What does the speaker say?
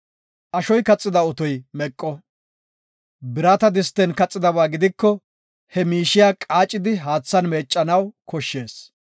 Ashoy kaxida otoy meqo; birata disten kaxidaba gidiko he miishiya qaacidi haathan meeccanaw koshshees.